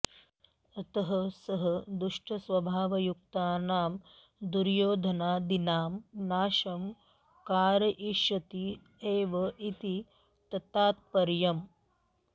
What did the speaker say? अतः सः दुष्टस्वभावयुक्तानां दुर्योधनादीनां नाशं कारयिष्यति एव इति ततात्पर्यम्